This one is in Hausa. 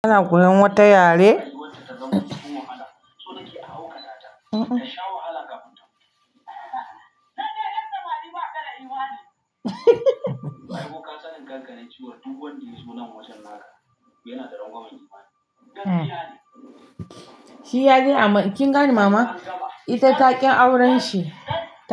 Kana koyan wata yare? Shi ya je amma kin gane mama, ita takin auren shi.